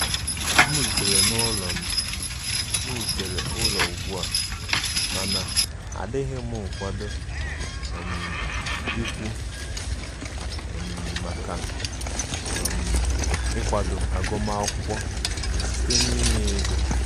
M rutere ụlọ M rutere ụlọ ụgba, mana adịm m nkwado um ịkwụ um maka um ịkwadọ agụ ma akwụkwọ site n'inye ego.